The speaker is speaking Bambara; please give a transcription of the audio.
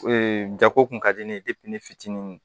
jako kun ka di ne ye ne fitinin